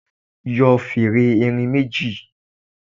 Yọ fèrè erin méjì.